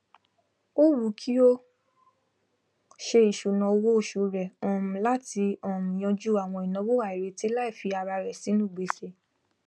ó wùú kí o se ìsùná owó osù rẹ um latí um yanjú àwọn ináwó àìrètí láì fi ara rẹ sínú gbèsè